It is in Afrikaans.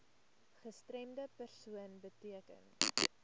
gestremde persoon beteken